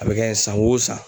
A be kɛ san o san